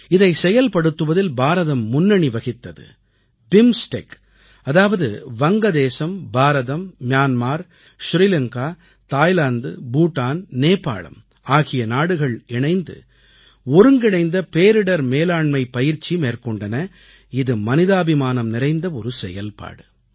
இதைச் செயல்படுத்துவதில் பாரதம் முன்னணி வகித்தது பிம்ஸ்டெக் அதாவது வங்கதேசம் Bharat Myanmar Myanmar Thailand Bhutan Nepal ஆகிய நாடுகள் இணைந்து ஒருங்கிணைந்த பேரிடர் மேலாண்மைப் பயிற்சி மேற்கொண்டன இது மனிதாபிமானம் நிறைந்த ஒரு செயல்பாடு